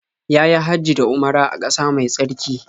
Ya yi Hajji da Umara a ƙasa mai tsarki.